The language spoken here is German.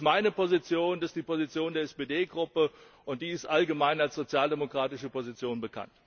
Das ist meine Position, das ist die Position der SPD Gruppe, und die ist allgemein als sozial demokratische Position bekannt.